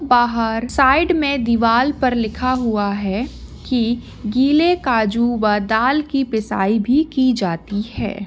बाहर साइड मे दीवार पर लिखा हुआ है कि गीले काजू व दाल की पिसाई भी की जाती है।